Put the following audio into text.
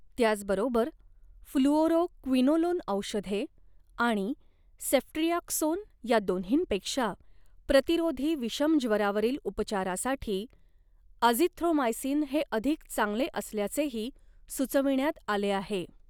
त्याच बरोबर, फ्लुओरोक्विनोलोन औषधे आणि सेफ्ट्रियाक्सोन या दोन्हींपेक्षा प्रतिरोधी विषमज्वरावरील उपचारासाठी अझिथ्रोमायसिन हे अधिक चांगले असल्याचेही सुचविण्यात आले आहे.